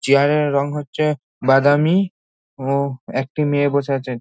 Chair -এর রং হচ্ছে বাদামি ও একটি মেয়ে বসে আছে।